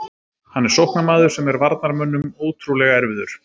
Hann er sóknarmaður sem er varnarmönnum ótrúlega erfiður.